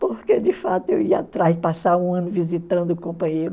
porque, de fato, eu ia passar um ano visitando o companheiro.